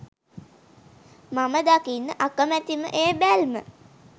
මම දකින්න අකමැතිම ඒ බැල්ම